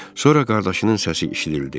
Sonra qardaşının səsi eşidildi.